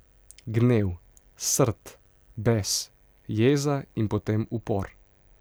Gnev, srd, bes, jeza in potem upor.